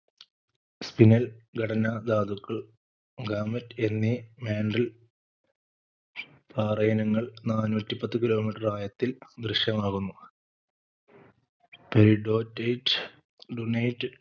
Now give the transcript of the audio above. spinal ഘടനാ ദാതുക്കൾ gamete എന്നീ mantle പാറയിനങ്ങൾ നാനൂറ്റി പത്തു kilometer ആഴത്തിൽ ദൃശ്യമാകുന്നു poudretteite dunite